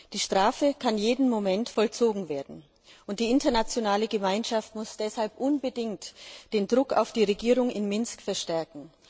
Die Strafe kann jeden Moment vollzogen werden und die internationale Gemeinschaft muss deshalb unbedingt den Druck auf die Regierung in Minsk verstärken.